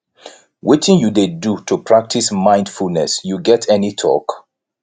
wetin you dey do to practice mindfulness you get any talk